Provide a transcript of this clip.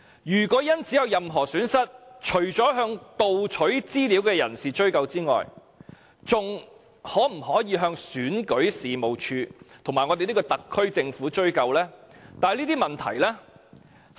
如果有人因此而有任何損失，除了向盜取資料的人追究外，還可否向選舉事務處及我們這個特區政府追究呢？